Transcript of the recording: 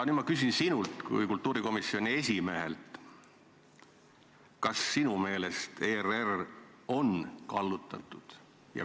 Nüüd ma küsin sinult kui kultuurikomisjoni esimehelt, kas sinu meelest on ERR kallutatud.